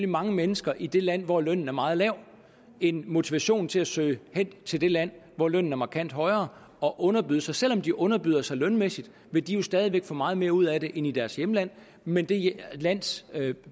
mange mennesker i det land hvor lønnen er meget lav en motivation til at søge hen til det land hvor lønnen er markant højere og underbyde sig selv om de underbyder sig lønmæssigt vil de jo stadig væk få meget mere ud af det end i deres hjemland mens det lands